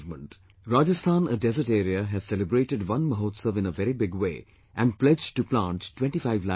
Rajasthan, desert area, has celebrated Van Mahotsav in a very big way and pledged to plant 25 lakhs trees